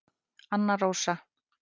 Anna Rósa